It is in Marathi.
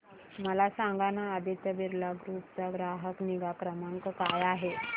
मला सांगाना आदित्य बिर्ला ग्रुप चा ग्राहक निगा क्रमांक काय आहे